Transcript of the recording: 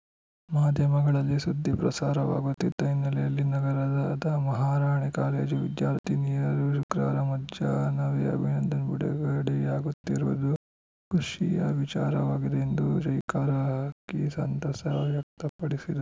ಮಾಧ್ಯಮಗಳಲ್ಲಿ ಸುದ್ದಿ ಪ್ರಸಾರವಾಗುತ್ತಿದ್ದ ಹಿನ್ನೆಲೆಯಲ್ಲಿ ನಗರದ ಮಹಾರಾಣಿ ಕಾಲೇಜು ವಿದ್ಯಾರ್ಥಿನಿಯರು ಶುಕ್ರವಾರ ಮಧ್ಯಾಹ್ನವೇ ಅಭಿನಂದನ್‌ ಬಿಡುಗಡೆಯಾಗುತ್ತಿರುವುದು ಖುಷಿಯ ವಿಚಾರವಾಗಿದೆ ಎಂದು ಜೈಕಾರ ಹಾಕಿ ಸಂತಸ ವ್ಯಕ್ತಪಡಿಸಿದ